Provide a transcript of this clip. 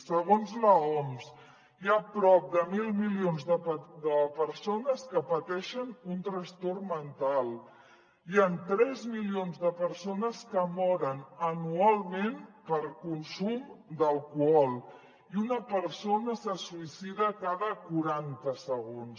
segons l’oms hi ha prop de mil milions de persones que pateixen un trastorn mental hi han tres milions de persones que moren anualment per consum d’alcohol i una persona se suïcida cada quaranta segons